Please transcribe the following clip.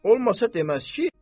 Olmasa deməz ki.